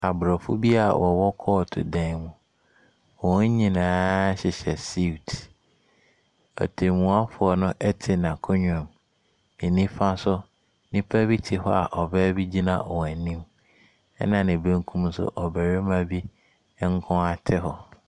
Aborɔfo bi wɔwɔ kɔɔto dan mu, wɔn nyinaa hyehyɛ suit. Ɔtɛmmuafoɔ no ɛte n’akonnwa mu. Ne nifa so, nnipa bi te hɔ a ɔbaaa bi gyina wɔn anim; ɛna ne bankum so, ɔbatima bi nkoara te hɔ.